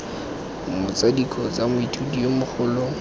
motsadi kgotsa moithuti yo mogolo